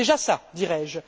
C'est déjà ça, dirais je.